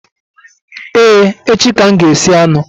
Ee, echi ka m ga-esi anụ